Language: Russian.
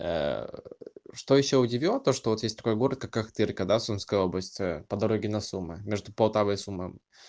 что ещё удивило то что вот есть такой город какой ахтырка сумская область по дороге на суммы между полтавой и суммами